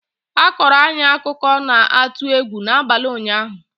a kọọrọ anyị akụkọ na-atụ egwu n'abalị ụnyaahụ